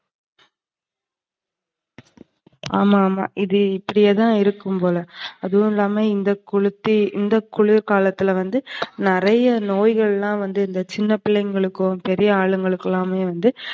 ஆமா, ஆமா இது இப்டியே தான் இருக்கும்போல. அதுலயும் இல்லாம இந்த குளிர் காலத்துல வந்து நறையா நோய்கள்லாம் வந்து இந்த சின்ன பிள்ளைகளுக்கும், பெரிய ஆளுகளுக்கும் வந்து